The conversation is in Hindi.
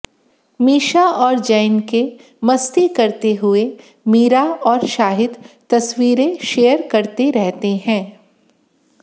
मीशा और जैन के मस्ती करते हुए मीरा और शाहिद तस्वीरें शेयर करते रहते हैं